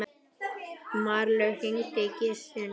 Marlaug, hringdu í Gissunni.